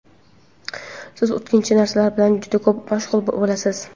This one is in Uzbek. Siz o‘tkinchi narsalar bilan juda ko‘p mashg‘ul bo‘lasiz.